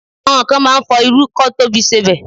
Àwọn kan máa ń fọ irú kọ́ tó fi sebẹ̀